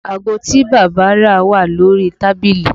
Aago tí bàbá rà wà lórí tábìlì